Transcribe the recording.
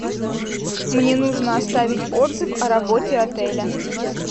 мне нужно оставить отзыв о работе отеля